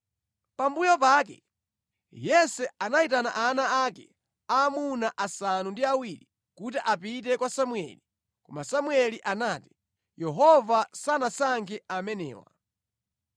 Pambuyo pake, Yese anayitana ana ake amuna asanu ndi awiri kuti apite kwa Samueli. Koma Samueli anati, “Yehova sanasankhe amenewa.”